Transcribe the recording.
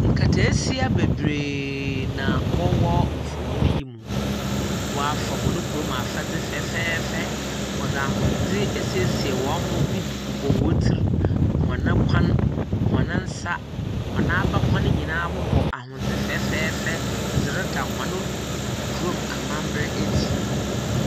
Nkataasia bebree ma wɔwɔ mfonyi yi mu. Wɔafa hɔn kurom afadze fɛfɛɛfɛ. Wɔdze ahodze asiesie hɔn ho bi bobɔ wɔn tsir, hɔn kon, hɔn nsa, hɔn abakɔn nyinaa bobɔ ahondze fɛfɛɛfɛ dze reda hɔn amambra adzi.